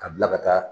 Ka bila ka taa